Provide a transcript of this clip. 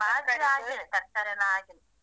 ಬಾಜಿಯೆಲ್ಲ ಹಾಕಿ, ತರಕಾರಿ ಎಲ್ಲ ಹಾಕಿ.